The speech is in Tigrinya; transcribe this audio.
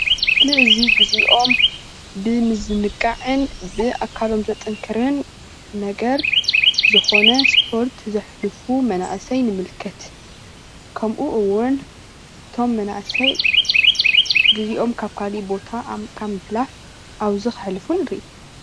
ኣብዚ ምስሊ እዚ ግዚኦም ብምዝንጋዕን ብኣካሎም ዘጠንክርን ነገር ዝኾነ ስፖርት ዘሕልፉ መናእሰይ ንምልከት፡፡ ከምኡ እውን እቶም መናእሰይ ግዚኦም ካብ ካልእ ቦታ ካብ ምሕላፍ ኣብዙይ ከሕልፉ ንርኢ፡፡